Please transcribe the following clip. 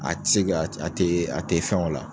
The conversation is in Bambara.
A tɛ se ka a tɛ a tɛ fɛn o la.